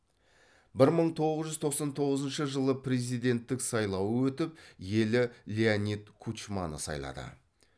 бір мың тоғыз жүз тоқсан тоғызыншы жылы президенттік сайлауы өтіп елі леонид кучманы сайлады